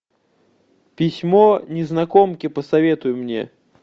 письмо незнакомки посоветуй мне